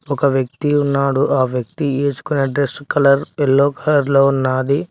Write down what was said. ఒక వ్యక్తి ఉన్నాడు ఆ వ్యక్తి వేసుకుని డ్రస్ కలర్ ఎల్లో కలర్ లో ఉన్నది.